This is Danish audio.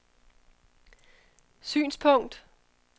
synspunkt